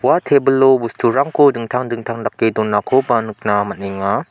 ua tebilo bosturangko dingtang dingtang dake donakoba nikna man·enga.